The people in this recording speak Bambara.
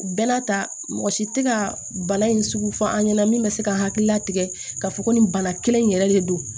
Bɛɛ n'a ta mɔgɔ si tɛ ka bana in sugu fɔ an ɲɛna min bɛ se ka hakilila tigɛ ka fɔ ko nin bana kelen in yɛrɛ de don